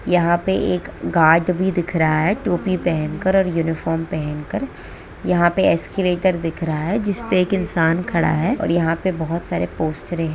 यहां पे एक गार्ड भी दिख रहा है टोपी पहनकर और यूनिफॉर्म पहनकर यहां पे एस्केलेटर दिख रहा है जिस पे एक इंसान खड़ा है और यहां पे बहुत सारे पोस्टारे है।